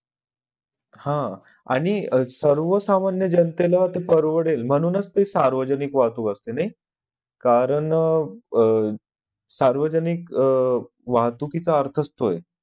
हा आणि सर्वसामान्य जनतेला ते परवडेल म्हणूनच ते सार्वजनिक वाहतूक असते नई कारण अह सार्वजनिक अह वाहतुकीचा अर्थच तो आहे